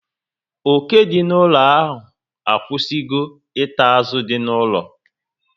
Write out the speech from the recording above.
Oke dị n'ụlọ a akwụsịgo ita azụ dị n'ụlọ